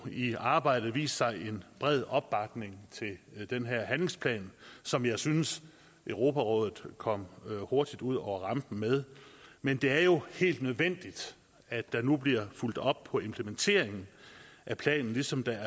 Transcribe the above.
i arbejdet vist sig en bred opbakning til den her handlingsplan som jeg synes europarådet kom hurtigt ud over rampen med men det er jo helt nødvendigt at der nu bliver fulgt op på implementeringen af planen ligesom der